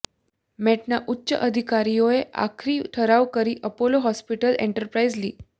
મેટના ઉચ્ચ અધિકારીઓ આખરી ઠરાવ કરી અપોલો હોસ્પિટલ એન્ટરપ્રાઇઝ લિ